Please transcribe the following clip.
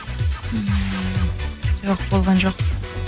ммм жоқ болған жоқ